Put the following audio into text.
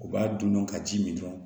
U b'a dun dɔrɔn ka ji min dun